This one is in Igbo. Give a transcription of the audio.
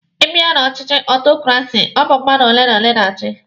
Ị bịa na ọchịchị aristokrasi, ọ bụ mmadụ ole na ole na-achi.